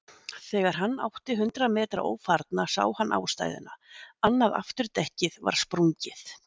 Þegar hann átti hundrað metra ófarna sá hann ástæðuna, annað afturdekkið var sprungið.